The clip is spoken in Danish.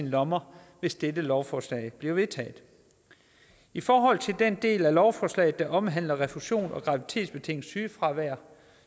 lommer hvis dette lovforslag bliver vedtaget i forhold til den del af lovforslaget der omhandler refusion og graviditetsbetinget sygefravær